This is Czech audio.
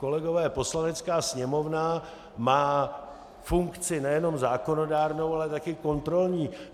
Kolegové, Poslanecká sněmovna má funkci nejenom zákonodárnou, ale taky kontrolní.